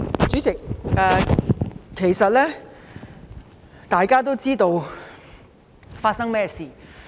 主席，大家其實都知道事情的來龍去脈。